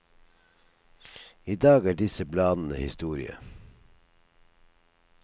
I dag er disse bladene historie.